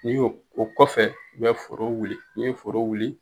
N'i y'o kɔfɛ, u bɛ foro wuli i ye foro wuli.